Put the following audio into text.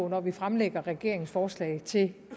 når vi fremlægger regeringens forslag til